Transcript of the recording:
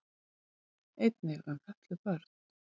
Einnig um fötluð börn.